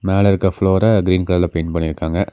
மேல இருக்க ஃப்ளோர கிரீன் கலர்ல பெயிண்ட் பண்ணிருக்காங்க.